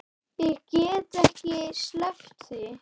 Ég get ekki sleppt því.